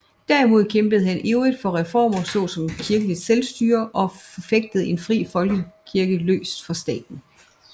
Derimod kæmpede han ivrigt for reformer såsom kirkeligt selvstyre og forfægtede en fri folkekirke løst fra staten